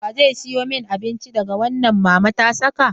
Wa zai siyo mani abinci daga wannan mama ta saka?